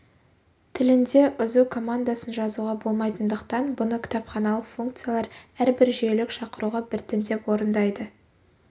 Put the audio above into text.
тілінде үзу командасын жазуға болмайтындықтан бұны кітапханалық функциялар әрбір жүйелік шақыруға біртіндеп орындайды